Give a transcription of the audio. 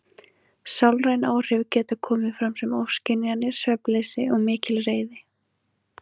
Sálræn áhrif geta komið fram sem ofskynjanir, svefnleysi og mikil reiði.